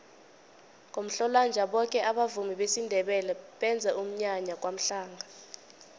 ngomhlolanja boke abavumi besindebele benza umnyanya kwamhlanga